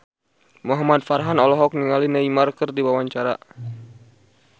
Muhamad Farhan olohok ningali Neymar keur diwawancara